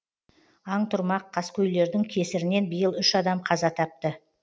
аң тұрмақ қаскөйлердің кесірінен биыл үш адам қаза тапты